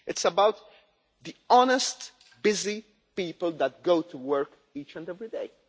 it is about the honest, busy people that go to work each and every